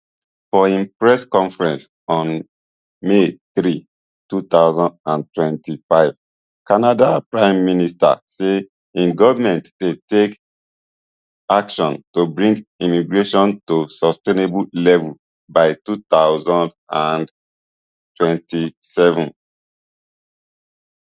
for im press conference on may three two thousand and twenty-five canada prime minister say im govment dey take action to bring immigration to sustainable levels by two thousand and twenty-seven